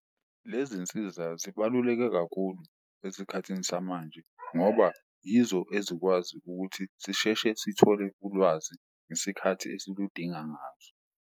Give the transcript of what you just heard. Le zinsiza zibaluleke kakhulu esikhathini samanje ngoba yizo ezikwazi ukuthi sisheshe sithole ulwazi ngesikhathi esiludinga ngaso.